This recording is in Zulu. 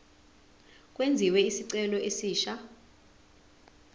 kwenziwe isicelo esisha